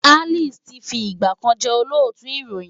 Alice ti fi ìgbà kan jẹ́ Olóòtú ìròyìn.